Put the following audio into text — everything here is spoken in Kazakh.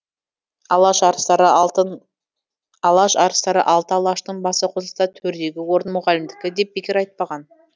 алаш арыстары алты алаштың басы қосылса төрдегі орын мұғалімдікі деп бекер айтпаған